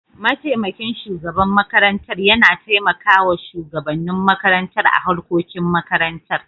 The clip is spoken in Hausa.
mataimakin shugaban makarantar yana taimakawa shugabannin makarantar a harkokin makarantar.